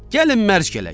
Gəlin mərc gələk.